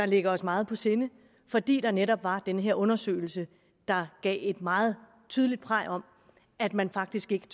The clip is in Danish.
ligger os meget på sinde fordi der netop var den her undersøgelse der gav et meget tydeligt praj om at man faktisk ikke